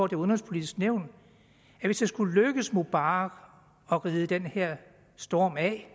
det udenrigspolitiske nævn at hvis det skulle lykkes mubarak at ride den her storm af